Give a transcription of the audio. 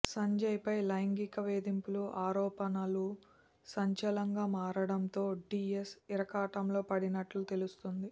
సంజయ్పై లైంగిక వేధింపులు ఆరోపణలు సంచలంగా మారడంతో డీఎస్ ఇరకాటంలో పడినట్లు తెలుస్తోంది